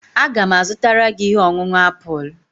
Aga m azụtara gị ihe ọṅụṅụ apụl